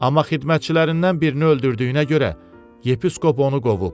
Amma xidmətçilərindən birini öldürdüyünə görə, yepiskop onu qovub.